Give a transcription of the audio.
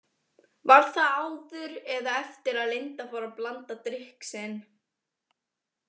Var það áður eða eftir að Linda fór að blanda drykk sinn?